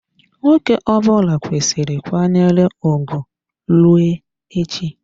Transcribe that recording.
Nwoke ọbụla kwesiri kwanyere ugwu rue echi.